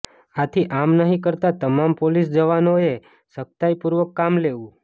આથી આમ નહિ કરતા તમામ પોલીસ જવાનો એ સખ્તાઈ પૂર્વક કામ લેવું